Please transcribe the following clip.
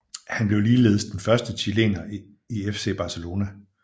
Han blev ligeledes den første chilener i FC Barcelona